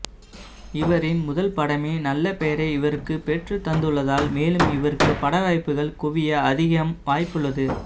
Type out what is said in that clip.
இவரின் முதல் படமே நல்ல பெயரை இவருக்கு பெற்று தந்துள்ளதால் மேலும் இவருக்கு படவாய்ப்புகள் குவிய அதிகம் வாய்ப்புள்ளது